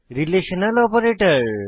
relational operator